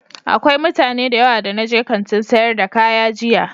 Akwai mutane da yawa da na je Kantin sayar da kaya jiya.